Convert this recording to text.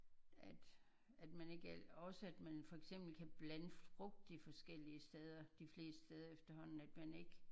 At at man ikke altid også at man for eksempel kan blande frugt de forskellige steder de fleste steder efterhånden at man ikke